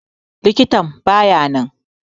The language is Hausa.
Likitan baya nan.